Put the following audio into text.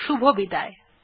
শুভবিদায়